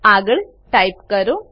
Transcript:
આગળ ટાઈપ કરો